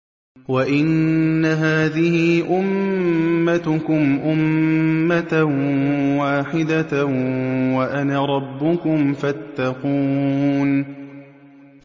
وَإِنَّ هَٰذِهِ أُمَّتُكُمْ أُمَّةً وَاحِدَةً وَأَنَا رَبُّكُمْ فَاتَّقُونِ